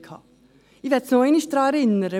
Ich möchte noch einmal daran erinnern: